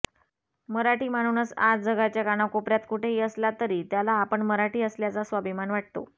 मराठी माणूनस आज जगाच्या कानाकोपऱ्यात कुठेही असला तरी त्याला आपण मराठी असल्याचा अभिमान वाटतो